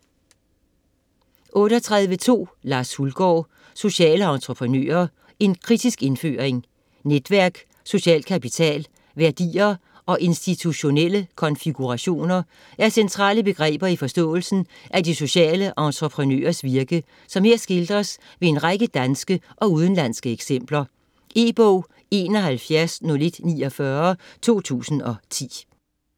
38.2 Hulgård, Lars: Sociale entreprenører: en kritisk indføring Netværk, social kapital, værdier og institutielle konfigurationer er centrale begreber i forståelsen af de sociale entreprenøres virke, som her skildres ved en række danske og udenlandske eksempler. E-bog 710149 2010.